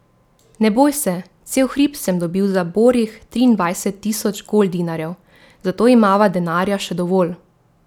Ne boj se, cel hrib sem dobil za borih triindvajset tisoč goldinarjev, zato imava denarja še dovolj.